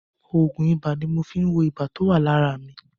Òògùn ibà ni mo fi ń wo ibà tó wà lára mi.